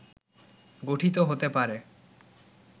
গঠিত হতে পারে